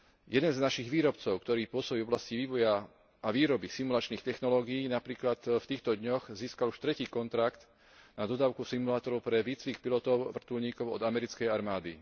Jeden z našich výrobcov, ktorý pôsobí v oblasti vývoja a výroby simulačných technológií, napríklad v týchto dňoch získal už tretí kontrakt na dodávku simulátorov pre výcvik pilotov vrtuľníkov od americkej armády.